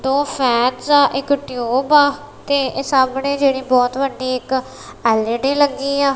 ਦੋ ਫੈਨਸ ਆ ਇੱਕ ਟਿਊਬ ਆ ਤੇ ਇਹ ਸਾਹਮਣੇ ਜਿਹੜੀ ਬਹੁਤ ਵੱਡੀ ਇੱਕ ਐਲ_ਈ_ਡੀ ਲੱਗੀ ਆ।